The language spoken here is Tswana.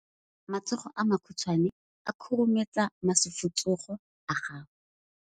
Matsogo a makhutshwane a khurumetsa masufutsogo a gago.